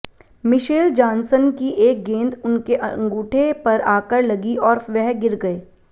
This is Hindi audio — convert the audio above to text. मिशेल जानसन की एक गेंद उनके अंगूठे पर आकर लगी और वह गिर गए